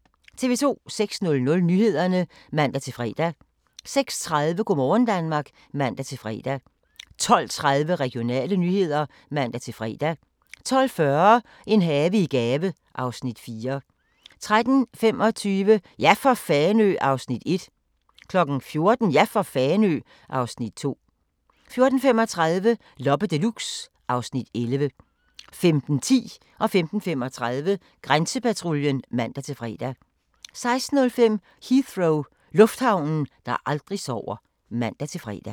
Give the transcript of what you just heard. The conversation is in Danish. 06:00: Nyhederne (man-fre) 06:30: Go' morgen Danmark (man-fre) 12:30: Regionale nyheder (man-fre) 12:40: En have i gave (Afs. 4) 13:25: Ja for Fanø! (Afs. 1) 14:00: Ja for Fanø! (Afs. 2) 14:35: Loppe Deluxe (Afs. 11) 15:10: Grænsepatruljen (man-tor) 15:35: Grænsepatruljen (man-fre) 16:05: Heathrow - lufthavnen, der aldrig sover (man-fre)